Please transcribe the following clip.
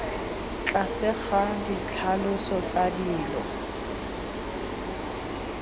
tlase ga ditlhaloso tsa dilo